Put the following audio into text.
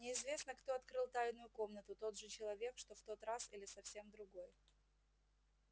неизвестно кто открыл тайную комнату тот же человек что в тот раз или совсем другой